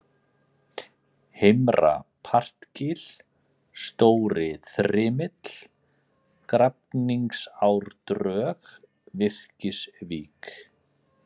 Heimra-Partgil, Stóriþrymill, Grafningsárdrög, Virkisvík